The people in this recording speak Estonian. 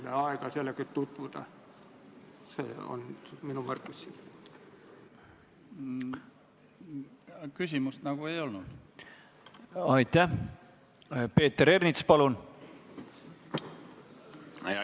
Sellel istungil kiitis riigikaitsekomisjon konsensuslikult heaks eelnõu teise lugemise teksti ja seletuskirja.